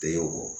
Te wo